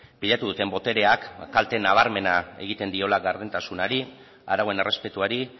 pilatu duten botereak kalte nabarmena egiten diola gardentasunari arauen errespetuari